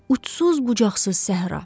Ucsuz bucaqsız səhra.